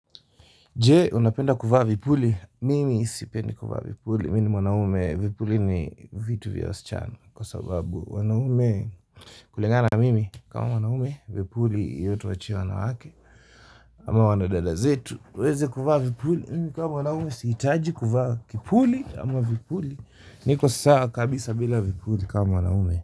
Je, unapenda kuvaa vipuli? Mimi sipendi kuvaa vipuli. Mimi ni mwanaume, vipuli ni vitu vya wasichana. Kwa sababu, mwanaume kulingana mimi, kama mwanaume, vipuli hiyo tuachie wanawake. Ama wanadada zetu, waweze kuvaa vipuli. Mimi kama mwanaume, sihitaji kuvaa kipuli ama vipuli. Niko saaa kabisa bila vipuli, kama mwanaume.